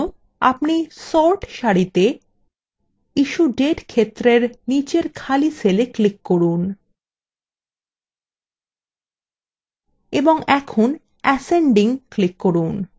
এই জন্য আপনি sort সারিতে issuedate ক্ষেত্রের নিচের খালি cellwe click করুন